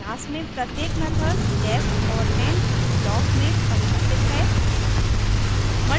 class में प्रत्येक method def और end ब्लॉक में परिभाषित है